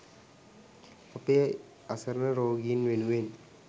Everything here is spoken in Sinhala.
අපේ අසරණ රෝගීන් වෙනුවෙන්